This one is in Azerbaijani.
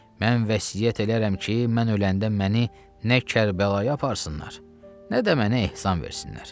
Mən vəsiyyət eləyərəm ki, mən öləndə məni nə Kərbəlaya aparsınlar, nə də mənə ehsan versinlər.